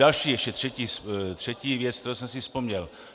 Další ještě, třetí věc, kterou jsem si vzpomněl.